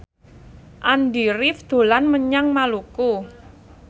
Andy rif dolan menyang Maluku